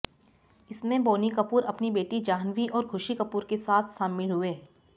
इसमें बोनी कपूर अपनी बेटी जान्हवी और ख़ुशी कपूर के साथ शामिल हुए थे